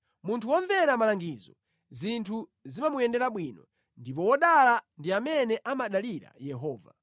Munthu womvera malangizo zinthu zimamuyendera bwino, ndipo wodala ndi amene amadalira Yehova.